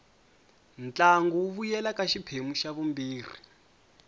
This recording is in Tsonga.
ntlangu wu vuyela ka xiphemu xa vumbirhi